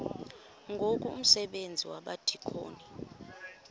ngoku umsebenzi wabadikoni